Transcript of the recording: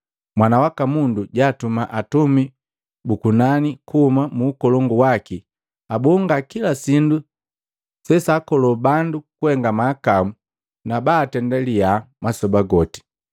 Mwana waka Mundu jaatuma atumi bu kunani kuhuma mu Ukolongu waki abonga kila sindu sesaakolo bandu kuhenga mahakau na baatenda liyaha masoba goti.